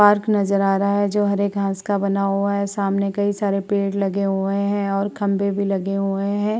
Park नजर आ रहा है जो हरे घास का बना हुआ है। सामने कई सारे पेड़ लगे हुए हैं और खम्भे भी लगे हुए हैं।